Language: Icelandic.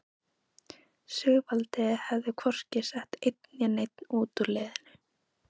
Sigvaldi hefur hvorki sett einn né neinn út úr liðinu.